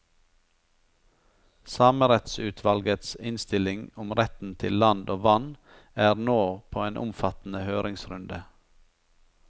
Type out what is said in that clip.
Samerettsutvalgets innstilling om retten til land og vann er nå på en omfattende høringsrunde.